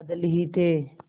बादल ही थे